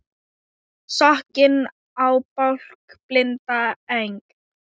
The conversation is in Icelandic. Sokkinn í bálk blinda Eng